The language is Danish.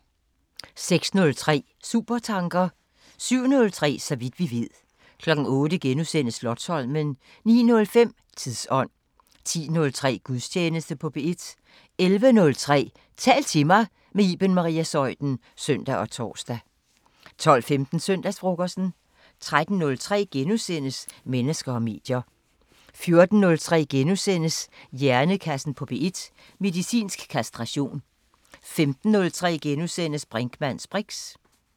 06:03: Supertanker 07:03: Så vidt vi ved 08:03: Slotsholmen * 09:05: Tidsånd 10:03: Gudstjeneste på P1 11:03: Tal til mig – med Iben Maria Zeuthen (søn og tor) 12:15: Søndagsfrokosten 13:03: Mennesker og medier * 14:03: Hjernekassen på P1: Medicinsk kastration * 15:03: Brinkmanns briks *